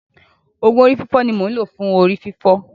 Òògùn orí fífọ́ ni mò ń lò fún orí fífọ́.